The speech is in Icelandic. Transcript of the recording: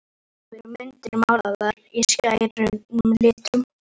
Á veggjunum eru myndir, málaðar í skærum litum.